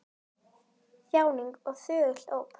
Þjáning og þögult óp!